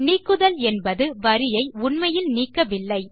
நீக்குதல் என்பது வரியை உண்மையில் நீக்கவில்லை